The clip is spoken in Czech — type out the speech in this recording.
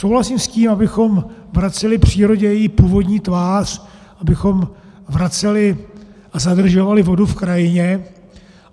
Souhlasím s tím, abychom vraceli přírodě její původní tvář, abychom vraceli a zadržovali vodu v krajině.